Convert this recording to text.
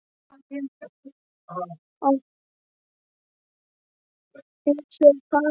Á hinn bóginn: heilshugar faðir og ástfanginn.